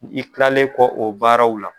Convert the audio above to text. I kilalen kɔ o baaraw la.